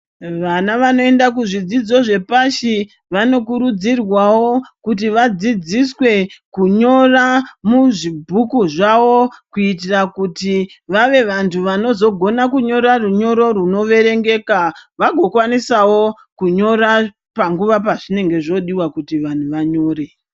Vana vanoenda kuzvidzidzo zvepashi vanokuridzirwawo kuti vadzidziswe kunyora muzvibhuku zvavo kuitira kuti vave vanhu vanozogona kunyora runyoro runozo verengeka vagokwanisawo kunyora panguwa pazvinenge zvodiwa kuti vantu vanyore.